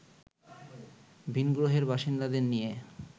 ভিনগ্রহের বাসিন্দাদের নিয়ে